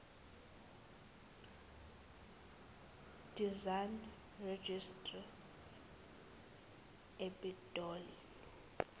design registry epitoli